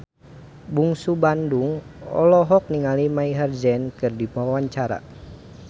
Bungsu Bandung olohok ningali Maher Zein keur diwawancara